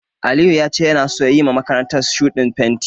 Aliyu ya ce yana so ya yiwa makarantar shuɗin fenti.